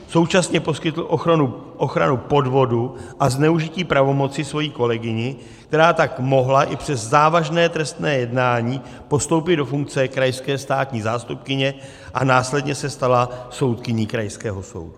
Současně poskytl ochranu podvodu a zneužití pravomoci své kolegyni, která tak mohla i přes závažné trestné jednání postoupit do funkce krajské státní zástupkyně a následně se stala soudkyní krajského soudu.